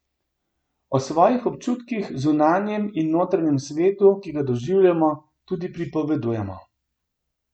O svojih občutkih, zunanjem in notranjem svetu, ki ga doživljamo, tudi pripovedujemo.